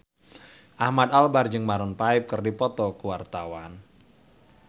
Ahmad Albar jeung Maroon 5 keur dipoto ku wartawan